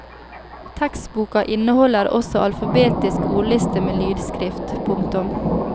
Tekstboka inneholder også alfabetisk ordliste med lydskrift. punktum